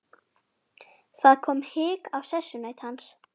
Það kom hik á sessunaut hans.